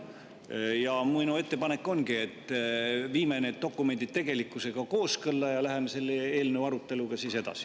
Ja minu ettepanek ongi, et viime need dokumendid tegelikkusega kooskõlla ja läheme siis selle eelnõu aruteluga edasi.